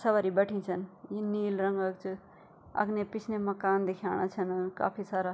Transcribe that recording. सवारी बैठीं छन यी नील रंग कि च अगने पिछने मकान दिखेणा छन काफी सारा।